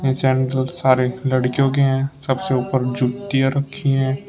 ये सैनडल सारे लड़कियों के हैं सबसे ऊपर जुतियां रखी है।